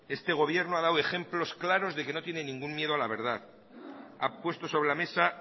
este gobierno ha dado ejemplos claros de que no tiene ningún miedo a la verdad ha puesto sobre la mesa